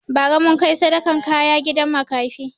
Bara mun kai sadakan kaya gida makafi